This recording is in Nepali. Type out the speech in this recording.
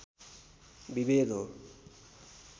विभेद हो